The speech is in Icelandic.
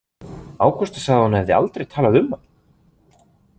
Ágústa sagði að hún hefði aldrei talað um hann?